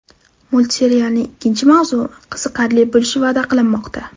Multserialning ikkinchi mavsumi qiziqarli bo‘lishi va’da qilinmoqda.